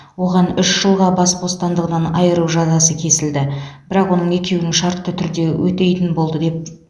оған үш жылға бас бостандығынан айыру жазасы кесілді бірақ оның екеуін шартты түрде өтейтін болды деп